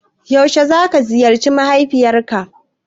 Yaushe za ka ziyarci mahaifiyar ka